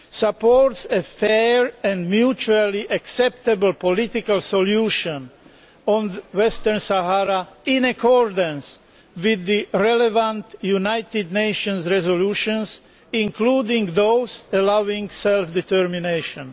supports a fair and mutually acceptable political solution on Western Sahara, in accordance with the relevant United Nations resolutions, including those allowing self determination'.